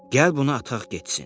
Gəl bunu ataq getsin.